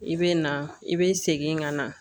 I bɛ na i bɛ segin ka na